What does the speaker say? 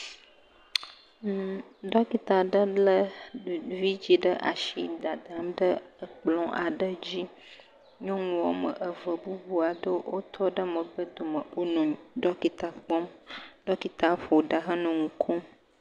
Mmmmm , Ɖɔkita ɖe le vidzi ɖe asi, dadam ɖe ekplɔ aɖe dzi. Nyɔnu eve bubu aɖewo tɔ ɖe megbe domi. Wonɔ ɖɔkita kpɔm. Ɖɔkita la ƒo ɖa he nɔ nu kom.